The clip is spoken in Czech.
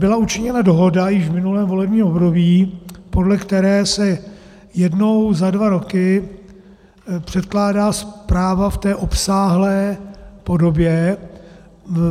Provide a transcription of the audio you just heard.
Byla učiněna dohoda již v minulém volebním období, podle které se jednou za dva roky předkládá zpráva v té obsáhlé podobě.